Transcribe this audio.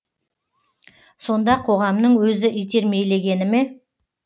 сонда қоғамның өзі итермелегені ме